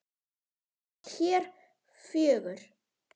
Við hér fjögur?